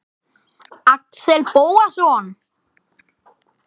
Axel Bóasson